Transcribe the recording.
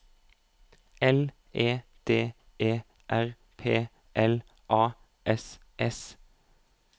L E D E R P L A S S